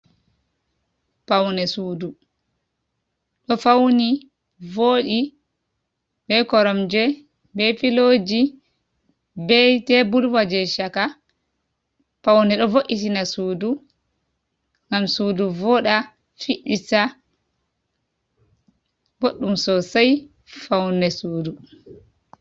Paune sudu ɗo fauni voɗi be koromje, be filoji, be teburwa je chaka, paune ɗo vo’itina sudu ngam sudu voɗa fiɗɗita, boɗɗum sosei faune sudu.